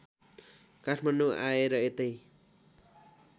काठमाडौँ आए र यतै